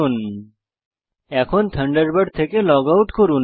অবশেষে থান্ডারবার্ড থেকে log out করুন